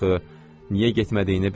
Niyə getmədiyini bilirəm.